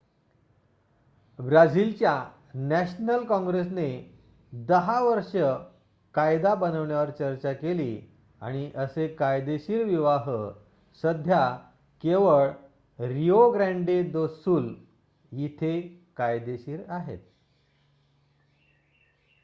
ब्राझिलच्या नॅशनल काँग्रेसने 10 वर्षे कायदा बनवण्यावर चर्चा केली आणि असे कायदेशीर विवाह सध्या केवळ रिओ ग्रँडे दो सुल इथे कायदेशीर आहेत